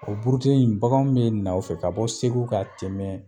O burute in baganw be na o fɛ ka bɔ segu ka tɛmɛ